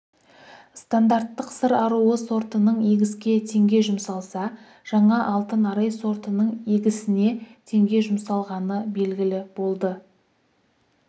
стандарттық сыр аруы сортының егіске теңге жұмсалса жаңа алтын арай сортының егісіне теңге жұмсалғаны белгілі болды